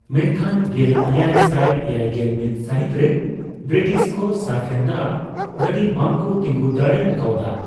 ᱢᱮᱱᱠᱷᱟᱱ ᱜᱮᱞ ᱮᱭᱟᱭ ᱥᱟᱭ ᱮᱭᱟᱭᱜᱮᱞ ᱢᱤᱫ ᱥᱟᱹᱦᱤᱛ ᱨᱮ ᱵᱤᱨᱤᱴᱤᱥ ᱠᱚ ᱥᱟᱯᱷᱨᱮᱱ ᱫᱟᱜ ᱜᱟᱹᱰᱤ ᱵᱟᱝ ᱠᱚ ᱛᱤᱸᱜᱩ ᱫᱟᱲᱮ ᱟᱠᱟᱣᱫᱟ ᱾